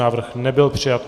Návrh nebyl přijat.